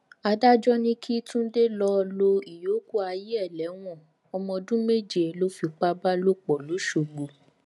adájọ ní kí túnde lọọ lo ìyókù ayé ẹ lẹwọn ọmọ ọdún méje ló fipá bá lò pọ lọsọgbọ